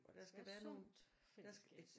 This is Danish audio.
Der skal være et sundt fællesskab